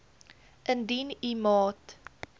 indien u maat